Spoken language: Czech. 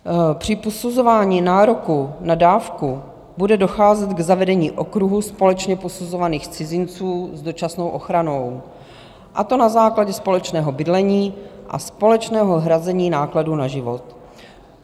Při posuzování nároku na dávku bude docházet k zavedení okruhu společně posuzovaných cizinců s dočasnou ochranou, a to na základě společného bydlení a společného hrazení nákladů na život.